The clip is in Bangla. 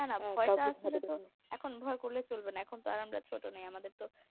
এখন ভয় করলে চলবে না এখন তো আর আমরা ছোট নাই আমাদের তো